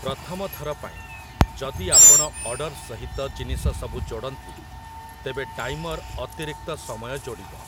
ପ୍ରଥମଥର ପାଇଁ, ଯଦି ଆପଣ ଅର୍ଡର ସହିତ ଜିନିଷସବୁ ଯୋଡ଼ନ୍ତି, ତେବେ ଟାଇମର୍ ଅତିରିକ୍ତ ସମୟ ଯୋଡ଼ିବ ।